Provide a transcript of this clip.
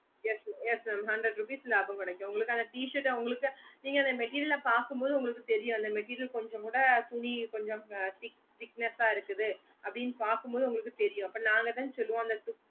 yes yes mam hundred rupees லாபம் கேடாகும் உங்களுக்கு அந்த t shirt உங்களுக்கு நீங்க அந்த material ஆஹ் பக்க மோடு உங்களுக்க தெரியும் அந்த material கொஞ்சம் கூட துணி கொஞ்சம் thickness ஆஹ் இருக்குது அப்புடின்னு பக்க மோடு உங்களுக்கு தெரியும் அப்போ நாங்கதான் சொல்லுவோம்